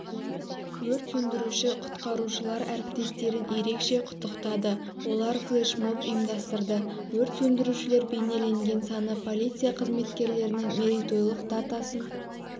өрт сөндіруші-құтқарушылар әріптестерін ерекше құттықтады олар флешмоб ұйымдастырды өрт сөндірушілер бейнелеген саны полиция қызметкерлерінің мерейтойлық датасын